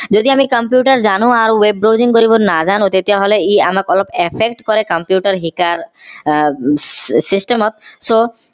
যদি আমি computer জানো আৰু web browsing কৰিব নাজানো তেতিয়া হলে ই আমাক অলপ effect কৰে computer শিকাৰ আহ system ত so